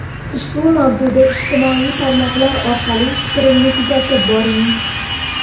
Ushbu mavzuda ijtimoiy tarmoqlar orqali fikrimni kuzatib boring.